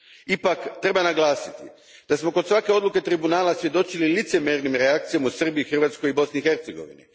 Ipak, treba naglasiti da smo kod svake odluke Tribunala svjedočili licemjernim reakcijama u Srbiji, Hrvatskoj i Bosni i Hercegovini.